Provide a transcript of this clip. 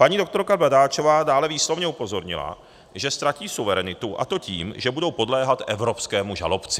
Paní doktorka Bradáčová dále výslovně upozornila, že ztratí suverenitu, a to tím, že budou podléhat evropskému žalobci.